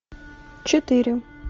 четыре